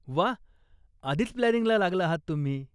वाह, आधीच प्लानिंगला लागला आहात तुम्ही.